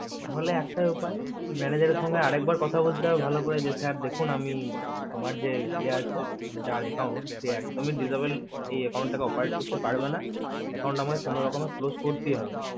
তাহলে একটাই উপায় যে manager এর সাথে আরেকবার কথা বলতে হবে ভালো করে sir দেখুন আমি আমার যে ইয়া আসে মানে যার account একদম disable account থেকে operate করতে পারবে account আমার কোনো রকম close করতেই হবে